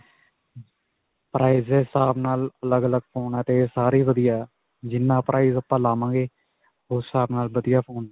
price ਦੇ ਹਿਸਾਬ ਨਾਲ ਅੱਲਗ-ਅੱਲਗ ਫੋਨ ਆ 'ਤੇ ਸਾਰੇ ਹੀ ਵਧੀਆ ਹੈ. ਜਿੰਨਾ price ਆਪਾਂ ਲਾਵਾਂਗੇ, ਉਸ ਹਿਸਾਬ ਨਾਲ ਵਧੀਆ ਫੋਨ ਹੈ.